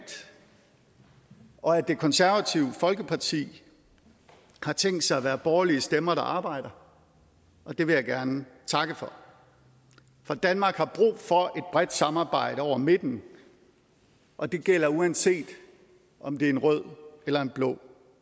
og at det konservative folkeparti har tænkt sig at være borgerlige stemmer der arbejder og det vil jeg gerne takke for for danmark har brug for et bredt samarbejde over midten og det gælder uanset om det er en rød eller en blå